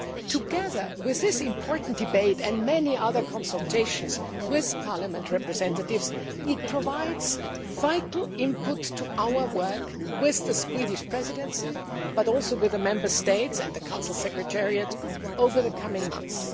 Together with this important debate and many other consultations with Parliament representatives, it provides vital input to our work with the Swedish Presidency, but also with the Member States and the Council Secretariat, over the coming months.